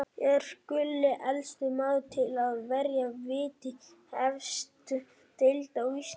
Er Gulli elsti maðurinn til að verja víti í efstu deild á Íslandi?